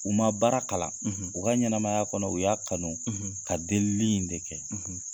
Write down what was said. U ma baara kalan , u ka ɲɛnaɛnɛmaya kɔnɔ, u y'a kanu ka deli in de kɛ.